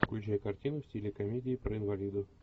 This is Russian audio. включай картину в стиле комедии про инвалидов